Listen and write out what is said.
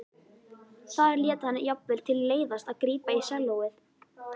Þar lét hann jafnvel til leiðast að grípa í sellóið.